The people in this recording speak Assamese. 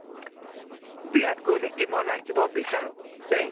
বিৰাট কোহলি ক team ত ৰাখিব বিচৰো দেই